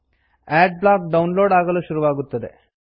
add block download ಆಗಲು ಶುರುವಾಗುತ್ತದೆ